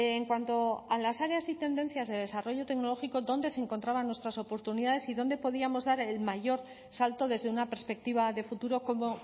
en cuanto a las áreas y tendencias de desarrollo tecnológico dónde se encontraban nuestras oportunidades y dónde podíamos dar el mayor salto desde una perspectiva de futuro cómo